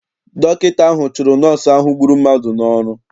Dọkịta ahụ chụrụ nọọsụ ahụ gburu mmadụ n'ọrụ.